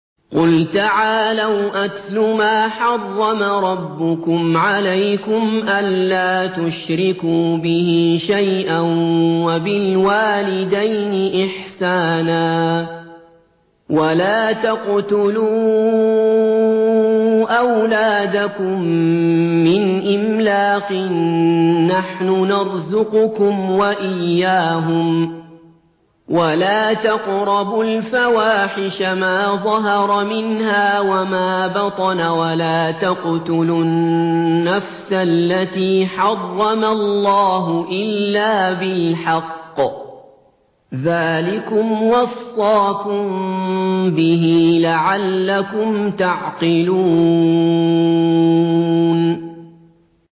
۞ قُلْ تَعَالَوْا أَتْلُ مَا حَرَّمَ رَبُّكُمْ عَلَيْكُمْ ۖ أَلَّا تُشْرِكُوا بِهِ شَيْئًا ۖ وَبِالْوَالِدَيْنِ إِحْسَانًا ۖ وَلَا تَقْتُلُوا أَوْلَادَكُم مِّنْ إِمْلَاقٍ ۖ نَّحْنُ نَرْزُقُكُمْ وَإِيَّاهُمْ ۖ وَلَا تَقْرَبُوا الْفَوَاحِشَ مَا ظَهَرَ مِنْهَا وَمَا بَطَنَ ۖ وَلَا تَقْتُلُوا النَّفْسَ الَّتِي حَرَّمَ اللَّهُ إِلَّا بِالْحَقِّ ۚ ذَٰلِكُمْ وَصَّاكُم بِهِ لَعَلَّكُمْ تَعْقِلُونَ